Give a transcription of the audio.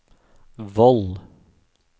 Voll